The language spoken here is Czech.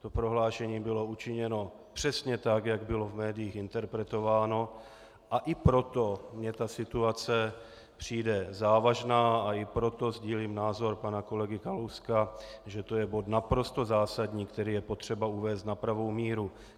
To prohlášení bylo učiněno přesně tak, jak bylo v médiích interpretováno, a i proto mně ta situace přijde závažná a i proto sdílím názor pana kolegy Kalouska, že to je bod naprosto zásadní, který je potřeba uvést na pravou míru.